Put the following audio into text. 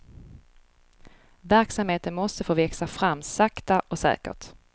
Verksamheten måste få växa fram sakta och säkert.